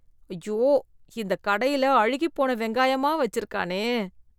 ஐயோ! இந்த கடையில அழுகிப்போன வெங்காயமா வச்சிருக்கானே!